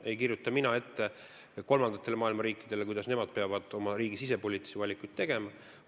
Ei kirjuta mina ette maailma riikidele, kuidas nemad peavad oma riigis sisepoliitilisi valikuid tegema.